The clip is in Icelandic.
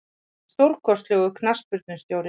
Hann er stórkostlegur knattspyrnustjóri.